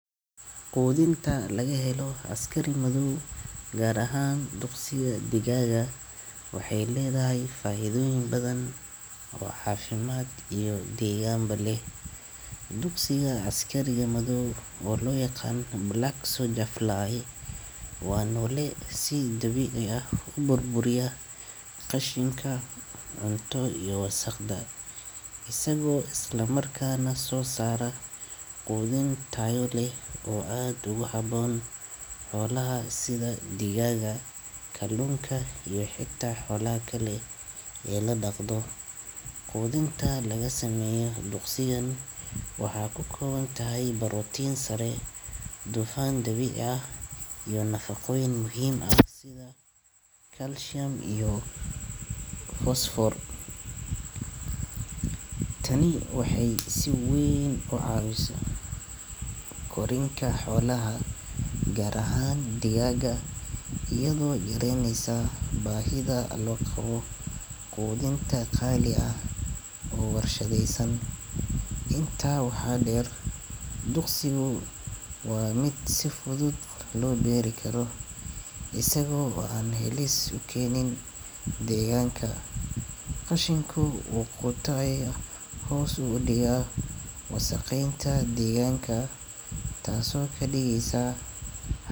Haweenka lagu helo askari madow gaar ahaan duqsi digaaga waxay leedahay faa'iidooyin badan, wax xaafimaad iyo deegaanba leh. Duqsiga askariga madow oo loo yaqaan Black Soldier Fly waa noole si dabiic ah, ubur buria, qashinka cunto iyo wasakhda. Isagoo isla markaan na soo saara 10 taal leh oo adigu xaboon hawlaha sida digaaga, kaluunka iyo xigta holaa kale ee la daqdo. Qodintaa laga sameeyo duqsigan waxaa ku kooban tahay barootiin sare, dufaan dabiic ah iyo nafaqooyin muhiim ah sida kalsheem iyo fosfor. Tani waxay si wayn caawisa korinka xolaha garahaan digaaga iyadoo jireeyaya baahida alwaqo qoodinta qaali ah uu warshadeysan. Intaa waxaa dheer, duuqsigu waa mid si fudud loo beeri karo. Isagoo waan heli sukeenin deegaanka. Qashinku uu qotay hoos u dhigaa wasakhaynta deegaanka, taasoo ka dhigiisaa haddii-